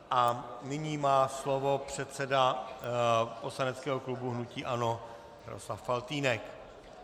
A nyní má slovo předseda poslaneckého klubu hnutí ANO Jaroslav Faltýnek.